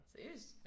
Seriøst?